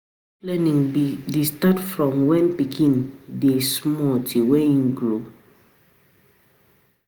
Structured learning de start from when pikin de small till when im grow